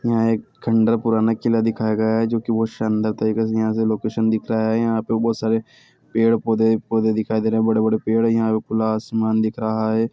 यहां एक खँडहर पुराना किला दिखाया गया है जो की बहुत शानदार तरीके से यहाँ से लोकेशन दिख रहा है यहाँ पे बहुत सारे पेड़-पौधे पौधे दिखाई दे रहे हैं बड़े-बड़े पेड़ है यहाँ पे खुला आसमान दिख रहा है।